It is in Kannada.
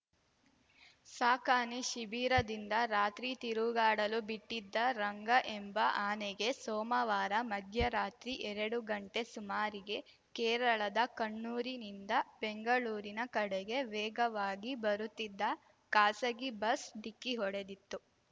ಸಾಕಾನೆ ಶಿಬಿರದಿಂದ ರಾತ್ರಿ ತಿರುಗಾಡಲು ಬಿಟ್ಟಿದ್ದ ರಂಗ ಎಂಬ ಆನೆಗೆ ಸೋಮವಾರ ಮಧ್ಯರಾತ್ರಿ ಏರಡು ಗಂಟೆ ಸುಮಾರಿಗೆ ಕೇರಳದ ಕಣ್ಣೂರಿನಿಂದ ಬೆಂಗಳೂರಿನ ಕಡೆಗೆ ವೇಗವಾಗಿ ಬರುತ್ತಿದ್ದ ಖಾಸಗಿ ಬಸ್‌ ಡಿಕ್ಕಿ ಹೊಡೆದಿತ್ತು